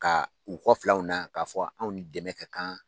Ka u kɔ filɛ anw na, k'a fɔ anw ni dɛmɛ ka kan.